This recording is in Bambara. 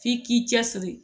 F'i k'i cɛ siri